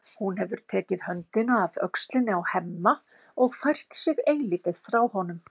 Hún hefur tekið höndina af öxlinni á Hemma og fært sig eilítið frá honum.